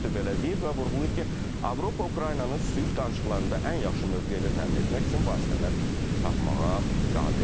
Rüttə belə deyib və vurğulayıb ki, Avropa Ukraynanı sülh danışıqlarında ən yaxşı mövqeylə təmin etmək üçün vasitələr tapmağa qadirdir.